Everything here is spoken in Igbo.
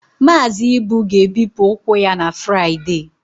Mazị Ibu ga-ebipụ ụkwụ ya na Fraịde